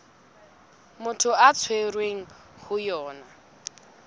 motho a tshwerweng ho yona